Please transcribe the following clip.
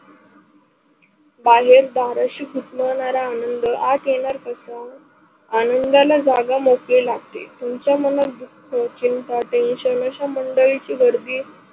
बाहेर दाराशी घुटमळणारा आनंद आत येणार कसा? आनंदाला जागा मोकळी लागते. तुमच्या मनात दुख, चिंता, tension असा मंडळी ची गर्दी